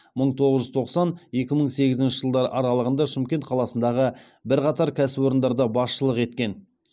мың тоғыз жүз тоқсан екі мың сегізінші жылдар аралығында шымкент қаласындағы бірқатар кәсіпорындарда басшылық еткен